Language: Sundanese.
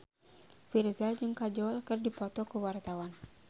Virzha jeung Kajol keur dipoto ku wartawan